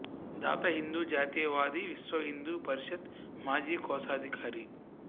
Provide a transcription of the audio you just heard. దాత హిందూ జాతీయ వాది విశ్వ హిందూ పరిషత్ మాజీ కోశాధికారి